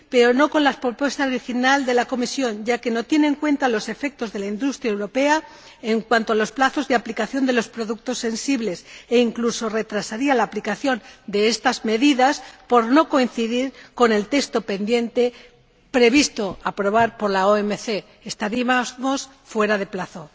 pero no con la propuesta original de la Comisión, ya que no tiene en cuenta los efectos para la industria europea en cuanto a los plazos de aplicación para los productos sensibles, e incluso retrasaría la aplicación de estas medidas por no coincidir con el texto pendiente de aprobación por la OMC estaríamos fuera de plazo.